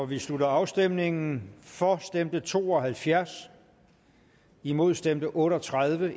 vi slutter afstemningen for stemte to og halvfjerds imod stemte otte og tredive